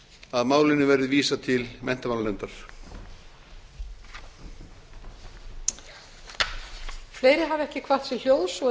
að málinu verði vísað til menntamálanefndar lauk á fyrri spólu